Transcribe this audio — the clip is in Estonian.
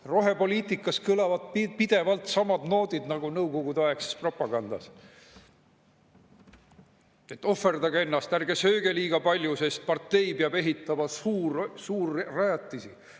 Rohepoliitikas kõlavad pidevalt samad noodid nagu nõukogudeaegses propagandas: ohverdage ennast, ärge sööge liiga palju, sest partei peab ehitama suurrajatisi!